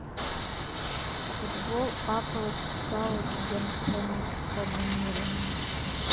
футбол апл саутгемптона с канонирами